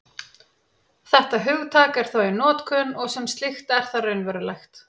Þetta hugtak er þó í notkun, og sem slíkt er það raunverulegt.